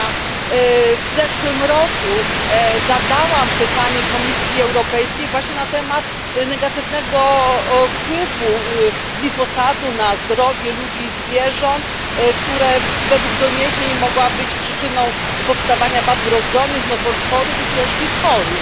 Ja w zeszłym roku zadałam pytanie Komisji Europejskiej właśnie na temat negatywnego wpływu glifosatu na zdrowie ludzi i zwierząt, który według doniesień mógł być przyczyną powstawania wad wrodzonych, nowotworów i ciężkich chorób.